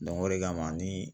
o de kama ni